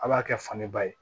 A b'a kɛ fani ba ye